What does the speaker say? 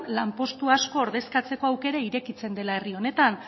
lanpostu asko ordezkatzeko aukera irekitzen dela herri honetan